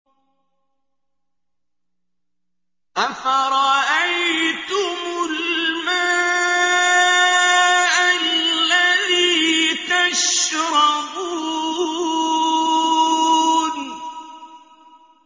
أَفَرَأَيْتُمُ الْمَاءَ الَّذِي تَشْرَبُونَ